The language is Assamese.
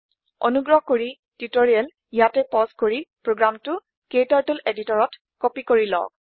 অনুগ্ৰহ কৰি টিউটৰিয়েল ইয়াতে পজ কৰি প্ৰোগ্ৰামটো ক্টাৰ্টল এডিটৰতত কপি কৰি লওক